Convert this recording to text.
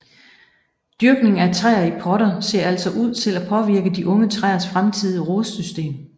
Dyrkning af træer i potter ser altså ud til at påvirke de unge træers fremtidige rodsystem